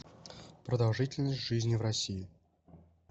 продолжительность жизни в россии